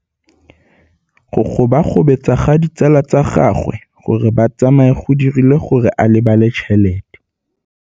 Go gobagobetsa ga ditsala tsa gagwe, gore ba tsamaye go dirile gore a lebale tšhelete.